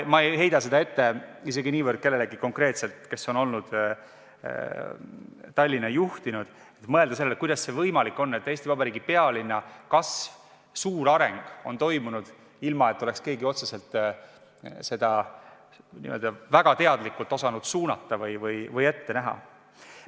Ma ei heida seda ette isegi niivõrd kellelegi konkreetselt, kes on Tallinna juhtinud, aga mõelge sellele, kuidas see võimalik on, et Eesti Vabariigi pealinna kasv, suur areng on toimunud, ilma et keegi oleks otseselt väga teadlikult osanud seda suunata või ette näha.